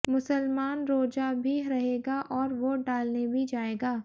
मुसलमान रोजा भी रहेगा और वोट डालने भी जाएगा